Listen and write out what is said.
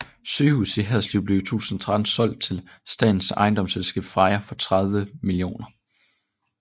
Sygehuset i Haderslev blev i 2013 solgt til statens ejendomsselskab Freja for 30 mill